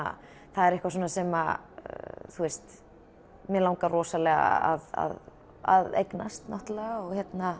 það er eitthvað sem mér langar rosalega að eignast og